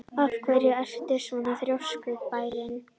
Af hverju ertu svona þrjóskur, Bæring?